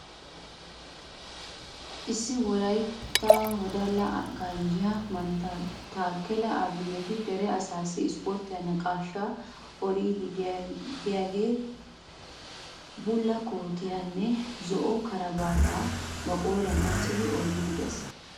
issi wolaytta wodala ganjjiyaa mantta taakela abineeti dere asaasi isporttiyaa naqaashshaa odiidi de'iyaage bulla kootiyaaranne zo"o karabaataa ba qooriyaan qachchidi odiidi de'ees.